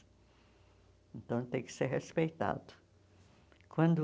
Então, tem que ser respeitado. Quando